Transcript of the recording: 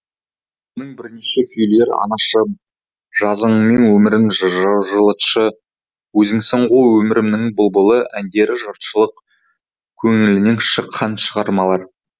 оның бірнеше күйлері анашым жазыңмен өмірімді жылытшы өзіңсің ғой өмірімнің бұлбұлы әндері жұртшылык көңілінен шыққан шығармалар